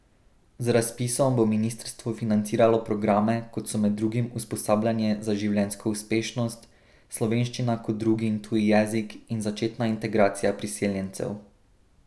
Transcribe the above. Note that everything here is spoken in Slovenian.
Z razpisom bo ministrstvo financiralo programe, kot so med drugim usposabljanje za življenjsko uspešnost, slovenščina kot drugi in tuji jezik in začetna integracija priseljencev.